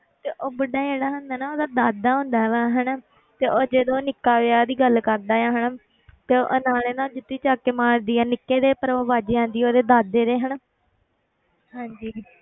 ਤੇ ਉਹ ਬੁੱਢਾ ਜਿਹੜਾ ਹੁੰਦਾ ਨਾ ਉਹਦਾ ਦਾਦਾ ਹੁੰਦਾ ਵਾ ਹਨਾ ਤੇ ਉਹ ਜਦੋਂ ਉਹ ਨਿੱਕਾ ਵਿਆਹ ਦੀ ਗੱਲ ਕਰਦਾ ਹੈ ਹਨਾ ਤੇ ਨਾਲੇ ਨਾ ਉਹ ਜੁੱਤੀ ਚੁੱਕ ਕੇ ਮਾਰਦੀ ਹੈ ਨਿੱਕੇ ਦੇ ਪਰ ਉਹ ਵੱਜ ਜਾਂਦੀ ਹੈ ਉਹਦੇ ਦਾਦੇ ਦੇ ਹਨਾ ਹਾਂਜੀ